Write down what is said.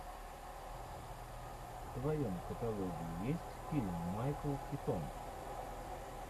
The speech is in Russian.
в твоем каталоге есть фильм майкл китон